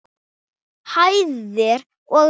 hæðir og ris.